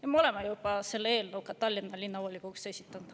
Ja me oleme selle eelnõu juba Tallinna Linnavolikogus esitanud.